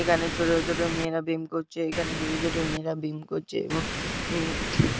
এখানে ছোট ছোট মেয়েরা বেম করছে এখানে ছোট ছোট মেয়েরা বিম করছে এবং উম ।